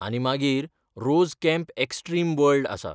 आनी मागीर 'rose camp extreme world' आसा.